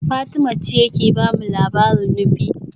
Fatima ce ke ba mu labarin Nupe